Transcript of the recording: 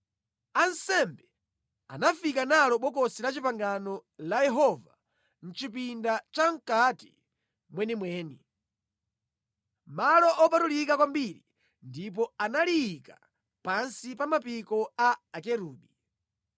Ansembe anafika nalo Bokosi la Chipangano la Yehova mʼchipinda chamʼkati mwenimweni, Malo Opatulika Kwambiri, ndipo analiyika pansi pa mapiko a Akerubi.